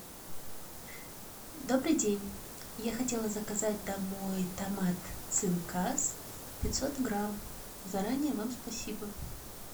добрый день я хотела заказать домой томат цинкас пятьсот грамм заранее вам спасибо